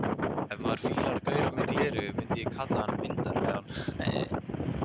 Ef maður fílar gaura með gleraugu myndi ég kalla hann myndarlegan.